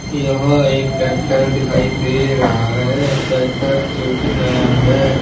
यह एक ट्रैक्टर दिखाई दे रहा है ट्रैक्टर जोकि नया है।